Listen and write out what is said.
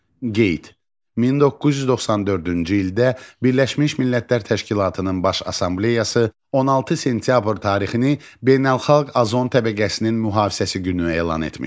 Qeyd: 1994-cü ildə Birləşmiş Millətlər Təşkilatının Baş Assambleyası 16 sentyabr tarixini Beynəlxalq Azon Təbəqəsinin Mühafizəsi Günü elan etmişdi.